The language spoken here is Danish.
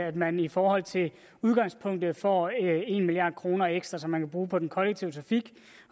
at man i forhold til udgangspunktet får en milliard kroner ekstra som man kan bruge på den kollektive trafik